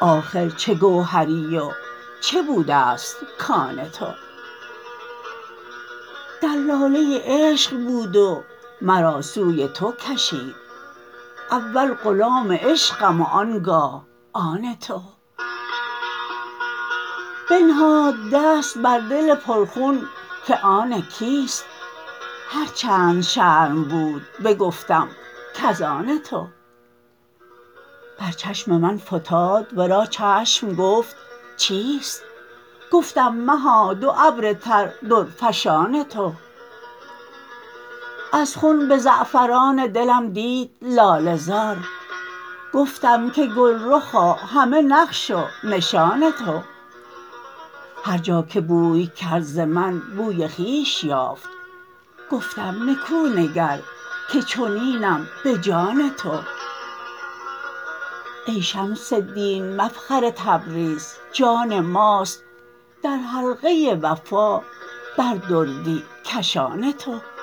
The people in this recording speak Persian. آخر چه گوهری و چه بوده ست کان تو دلاله عشق بود و مرا سوی تو کشید اول غلام عشقم و آن گاه آن تو بنهاد دست بر دل پرخون که آن کیست هر چند شرم بود بگفتم کز آن تو بر چشم من فتاد ورا چشم گفت چیست گفتم مها دو ابر تر درفشان تو از خون به زعفران دلم دید لاله زار گفتم که گلرخا همه نقش و نشان تو هر جا که بوی کرد ز من بوی خویش یافت گفتم نکو نگر که چنینم به جان تو ای شمس دین مفخر تبریز جان ماست در حلقه وفا بر دردی کشان تو